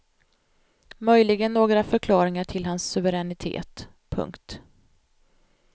Möjligen några förklaringar till hans suveränitet. punkt